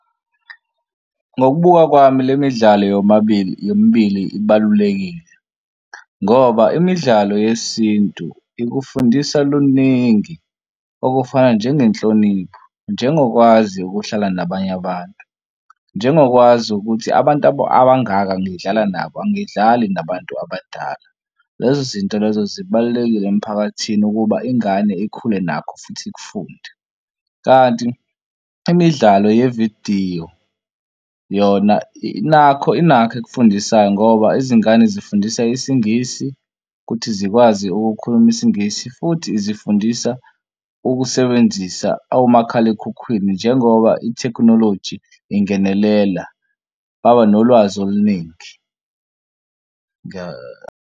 Ngokubuka kwami le midlalo yomabili yombili ibalulekile ngoba imidlalo yesintu ikufundisa luningi okufana njengenhlonipho njengokwazi ukuhlala nabanye abantu nje ngokwazi ukuthi abantu abangaka ngidlala nabo, angidlali nabantu abadala. Lezo zinto lezo zibalulekile emphakathini ukuba ingane ikhule nakho futhi ikufunda, kanti imidlalo yevidiyo yona nakho inakho ekufundisayo ngoba izingane zifundisa isingisi ukuthi zikwazi ukukhuluma isingisi futhi izifundisa ukusebenzisa omakhalekhukhwini njengoba ithekhinoloji ingenelela baba nolwazi oluningi.